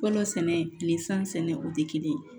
Fɔlɔ sɛnɛ kile san sɛnɛ o tɛ kelen ye